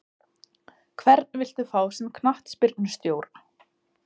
Hvern viltu fá sem knattspyrnustjóra?